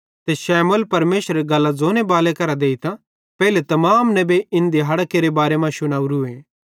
ते शमूएल परमेशरेरी गल्लां ज़ोनेबाले करां देइतां पेइले तमाम नेबेईं इन दिहाड़ां केरे बारे मां शुनावरू